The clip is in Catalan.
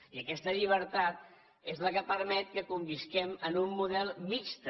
i aquesta llibertat és la que permet que convisquem en un model mixt